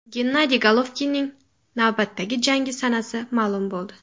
Gennadiy Golovkinning navbatdagi jangi sanasi ma’lum bo‘ldi.